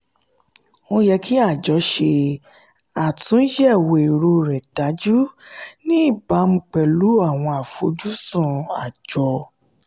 ó yẹ kí àjọ ṣe àtúnyẹ̀wò èrò rẹ̀ dájú ní ìbámu pẹ̀lú àwọn àfojúsùn àjọ.